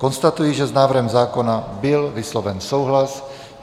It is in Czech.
Konstatuji, že s návrhem zákona byl vysloven souhlas.